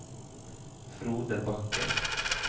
Frode Bakken